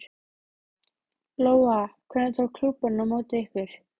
Lóa: Hvernig tók klúbburinn á móti ykkur?